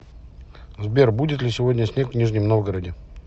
сбер будет ли сегодня снег в нижнем новгороде